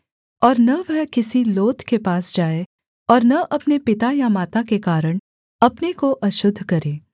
और न वह किसी लोथ के पास जाए और न अपने पिता या माता के कारण अपने को अशुद्ध करे